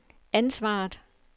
ansvaret